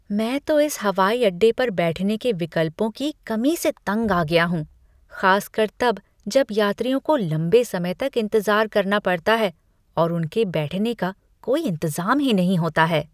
मैं तो इस हवाई अड्डे पर बैठने के विकल्पों की कमी से तंग आ गया हूँ, खासकर तब जब यात्रियों को लम्बे समय तक इंतज़ार करना पड़ता है और उनके बैठने का कोई इंतज़ाम ही नहीं होता है।